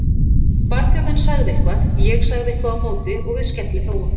Samtakanna var hún aldrei kölluð neitt annað en nafni þessa fyrrum